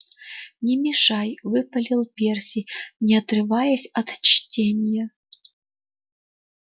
не мешай выпалил перси не отрываясь от чтения